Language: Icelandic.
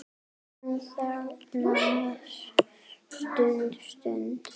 Hún þagnar stutta stund.